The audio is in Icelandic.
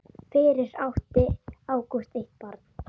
Fyrir átti Ágúst eitt barn.